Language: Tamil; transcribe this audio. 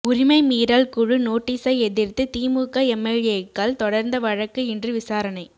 உரிமைமீறல் குழு நோட்டீஸை எதிா்த்துதிமுக எம்எல்ஏக்கள் தொடா்ந்த வழக்கு இன்று விசாரணை